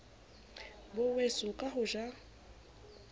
bo weso ka ho ja